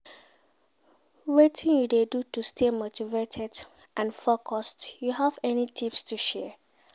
Wetin you dey do to stay motivated and focused, you have any tips to share?